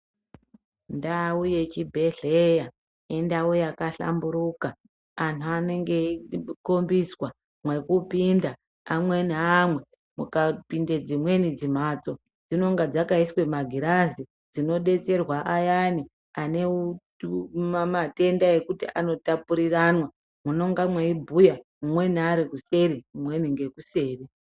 Ndau yechibhedhleya ,indau yakahlamburuka, anthu anenge eikhombiswa mwekupinda amwe neamwe, mukapinda dzimweni dzimphatso, dzinenge dzakaiswa magilazi, dzinodetserwa ayani ane matenda ekuti anotapuriranwa, munenge mweibhuya umweni ari kuseri umweni ngekuseri.